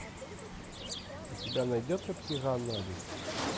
у тебя найдется психоанализ